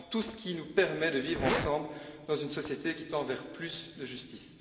c'est vraiment tout ce qui nous permet de vivre ensemble dans une société qui tend vers plus de justice.